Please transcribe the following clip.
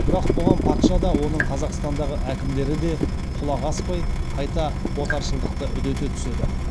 бірақ бұған патша да оның қазақстандағы әкімдері де құлақ аспай қайта отаршылдықты үдете түседі